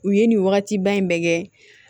U ye nin wagatiba in bɛɛ kɛ